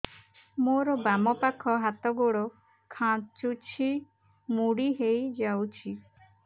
ମୋର ବାମ ପାଖ ହାତ ଗୋଡ ଖାଁଚୁଛି ମୁଡି ହେଇ ଯାଉଛି